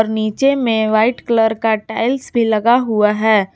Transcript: नीचे में white colour का टाइल्स भी लगा हुआ है।